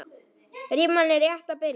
Rimman er rétt að byrja.